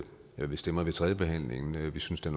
hvad vi stemmer ved tredjebehandlingen vi synes der